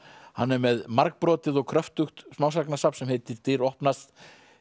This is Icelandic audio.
hann er með margbrotið og kröftugt smásagnasafn sem heitir dyr opnast